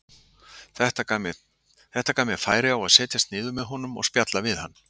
Þetta gaf mér færi á að setjast niður með honum og spjalla við hann.